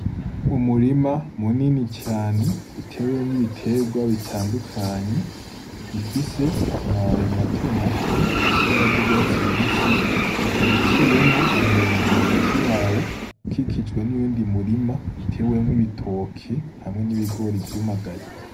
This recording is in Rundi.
Umurima munini cane uteruwemwo ibitegwa bitandukanye bifise amababi matomato afise ibara y'urwatsi rubisi, ukaba uciwemwo imirongo hagati yawo ukikijwe n'uyundi murima utewemwo ibitoke hamwe n'ibigori vyumagaye.